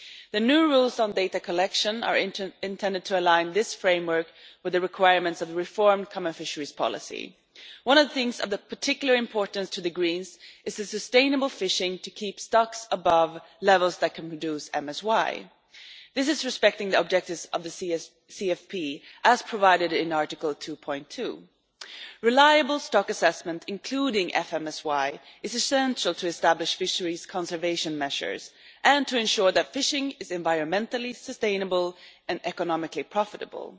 The new rules on data collection are intended to align this framework with the requirements of the reformed common fisheries policy. One of the things of particular importance to the Greens is sustainable fishing, to keep stocks above levels that can reduce maximum sustainable yield This is respecting the objectives of the CFP, as provided in Article 2 Reliable stock assessment, including FMSY, is essential to establish fisheries conservation measures, and to ensure that fishing is environmentally sustainable and economically profitable.